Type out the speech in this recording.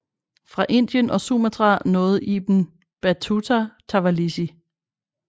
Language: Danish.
Fra Indien og Sumatra nåede Ibn Battuta Tawalisi